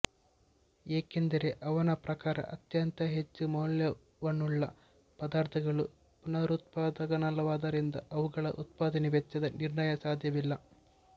ಏಕೆಂದರೆ ಅವನ ಪ್ರಕಾರ ಅತ್ಯಂತ ಹೆಚ್ಚು ಮೌಲ್ಯವನ್ನುಳ್ಳ ಪದಾರ್ಥಗಳು ಪುನರುತ್ಪಾದಕವಲ್ಲವಾದ್ದರಿಂದ ಅವುಗಳ ಉತ್ಪಾದನೆ ವೆಚ್ಚದ ನಿರ್ಣಯ ಸಾಧ್ಯವಿಲ್ಲ